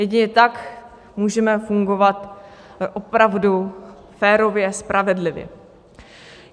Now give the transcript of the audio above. Jedině tak můžeme fungovat opravdu férově, spravedlivě.